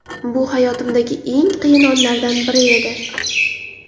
Bu hayotimdagi eng qiyin onlardan biri edi.